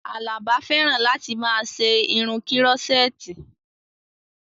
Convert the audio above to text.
Àlàbá fẹ́ràn láti máa ṣe irun kírọ́sẹ́ẹ̀tì